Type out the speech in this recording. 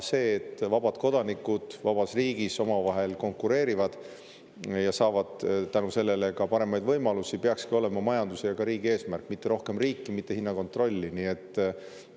See, et vabad kodanikud vabas riigis omavahel konkureerivad ja saavad tänu sellele ka paremaid võimalusi, peakski olema majanduse ja ka riigi eesmärk, mitte see, et on rohkem riiki, mitte see, et on hinnakontroll.